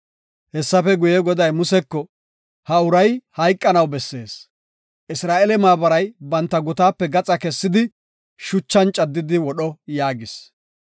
Hessafe guye, Goday Museko, “Ha uray hayqanaw bessees; Isra7eele maabaray banta gutaape gaxa kessidi shuchan caddidi wodho” yaagis.